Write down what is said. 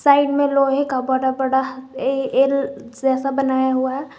Side में लोहे का बड़ा बड़ा ए एल जैसा बनाया हुआ है।